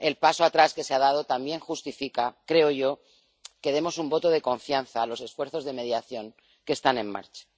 El paso atrás que se ha dado también justifica —creo yo— que demos un voto de confianza a los esfuerzos de mediación que están en marcha.